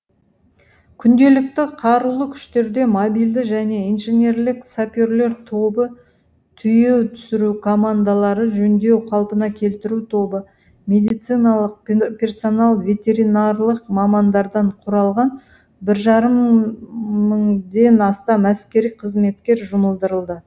күнделікті қарулы күштерде мобильді және инженерлік саперлер тобы тиеу түсіру командалары жөндеу қалпына келтіру тобы медициналық персонал ветеринарлық мамандардан құралған бір жарым мыңден астам әскери қызметкер жұмылдырылды